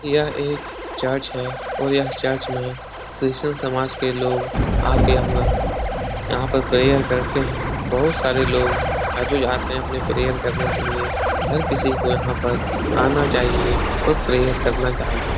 यह एक चर्च है और यह चर्च में क्रिश्चियन समाज के लोग आ के अपना यहाँ पर प्रेयर करते हैं। बहोत सारे लोग हर रोज आते हैं अपने प्रेयर करने के लिए। हर किसी को यहाँ पर आना चाहिए और प्रेयर करना चाहिए।